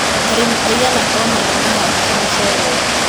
Arĩmĩ aĩgana ona nĩmahandite mũcere